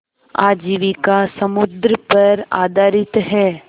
आजीविका समुद्र पर आधारित है